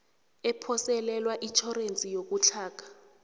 ephoselelwa itjhorense yokutlhoga